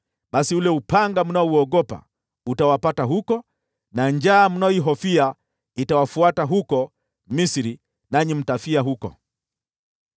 basi ule upanga mnaouogopa utawapata huko, na njaa mnayoihofia itawafuata huko Misri, nanyi mtafia huko.